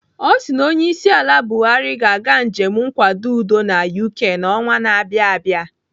Ọ sị na onyeisiala Buhari ga-aga njem nkwado udo na UK n'ọnwa na abịa abịa.